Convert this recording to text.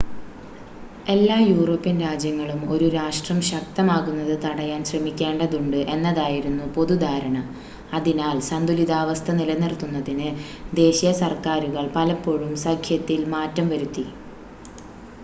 എല്ലാ യൂറോപ്യൻ രാജ്യങ്ങളും ഒരു രാഷ്ട്രം ശക്തമാകുന്നത് തടയാൻ ശ്രമിക്കേണ്ടതുണ്ട് എന്നതായിരുന്നു പൊതുധാരണ, അതിനാൽ സന്തുലിതാവസ്ഥ നിലനിർത്തുന്നതിന് ദേശീയ സർക്കാരുകൾ പലപ്പോഴും സഖ്യത്തിൽ മാറ്റം വരുത്തി